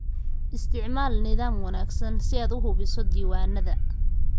Isticmaal nidaam wanaagsan si aad u habayso diiwaannada.